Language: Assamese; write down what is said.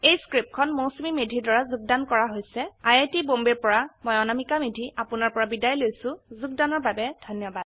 এই স্ক্ৰিপ্টখন মৌচুমী মেধীৰ দ্ৱাৰা যোগদান কৰা হৈছে আই আই টী বম্বে ৰ পৰা মই অনামিকা মেধি এতিয়া আপুনাৰ পৰা বিদায় লৈছো যোগদানৰ বাবে ধন্যবাদ